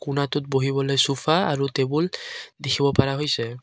কোনাটোত বহিবলৈ চুফা আৰু টেবুল দেখিব পাৰা হৈছে।